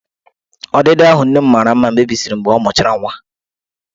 Ọdịdị ahụ nne m mara mma mebisiri mgbe ọ mụchara nwa.